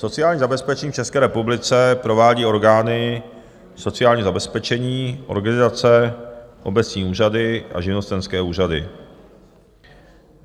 Sociální zabezpečení v České republice provádí orgány sociálního zabezpečení, organizace, obecní úřady a živnostenské úřady.